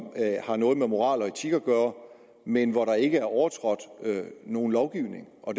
har noget med moral og etik at gøre men hvor der ikke er overtrådt nogen lovgivning og